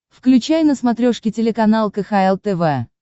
включай на смотрешке телеканал кхл тв